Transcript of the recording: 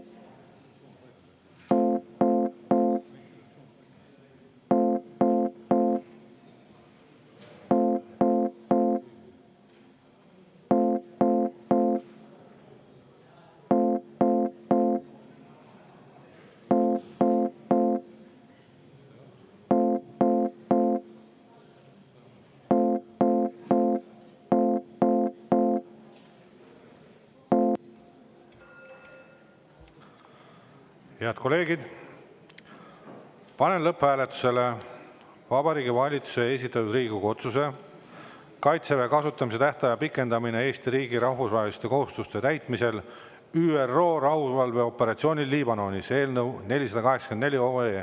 Head kolleegid, panen lõpphääletusele Vabariigi Valitsuse esitatud Riigikogu otsuse "Kaitseväe kasutamise tähtaja pikendamine Eesti riigi rahvusvaheliste kohustuste täitmisel ÜRO rahuvalveoperatsioonil Liibanonis" eelnõu 484.